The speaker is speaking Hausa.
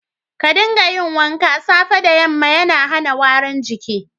Ka dinga yin wanka safe da yamma dan hana warin jiki.